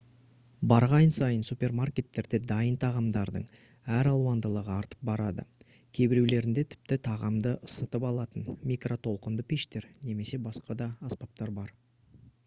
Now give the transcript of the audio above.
барған сайын супермаркеттерде дайын тағамдардың әр алуандылығы артып барады кейбіреулерінде тіпті тағамды ысытып алатын микротолқынды пештер немесе басқа да аспаптар бар